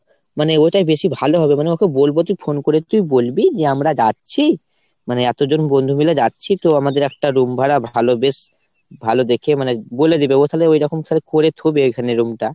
মানে ওইটাই বেশি ভালো হবে মানে ওকে বলবো তুই phone করে তুই বলবি যে আমরা যাচ্ছি। মানে এতজন বন্ধু মিলে যাচ্ছি তো আমাদের একটা room ভাড়া ভালো বেশ ভালো দেখে মানে বলে দেবে। ও তালে ওরকমভাবে করে থোবে room টা।